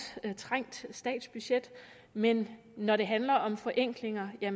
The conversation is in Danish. trængt statsbudget men når det handler om forenklinger er